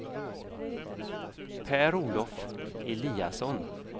Per-Olof Eliasson